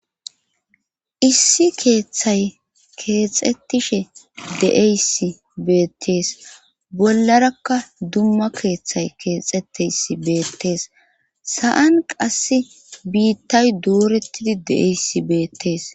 issi keeththay keexettishe de7eysi beettees bollarakka dumma keeththay keexeteysi beettees sa7an qass biittay duurettidi de7eyssi beettees